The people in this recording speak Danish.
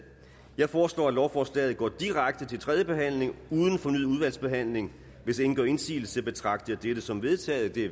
jeg foreslår at lovforslaget går direkte til tredje behandling uden fornyet udvalgsbehandling hvis ingen gør indsigelse betragter jeg dette som vedtaget det